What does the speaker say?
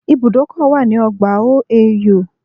There is a bus stop on OAU campus